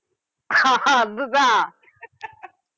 ஹா ஹா அது தான்